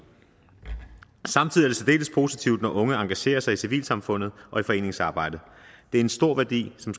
samtidig er det særdeles positivt når unge engagerer sig i civilsamfundet og i foreningsarbejdet det er en stor værdi som